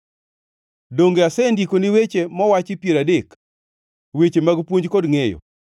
Donge asendikoni weche mowachi piero adek, weche mag puonj kod ngʼeyo,